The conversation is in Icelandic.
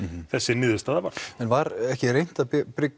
þessi niðurstaða varð en var ekki reynt að